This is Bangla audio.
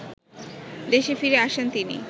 দেশে ফিরে আসেন তিনি